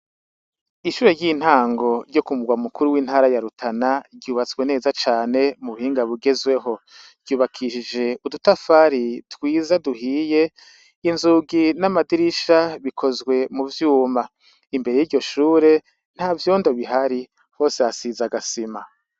Ishure ry'intango ryo ku murwa mukuru w'intara ya Rutana ryubatswe neza cane mu buhinga bugezwe ho. Ryubakishije udutafari twiza duhiye, inzugi n'amadirisha bikozwe mu vyuma. Imbere y'iryo shure, ntavyondo bihari. Hose hasize agasima.